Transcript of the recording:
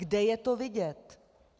Kde je to vidět?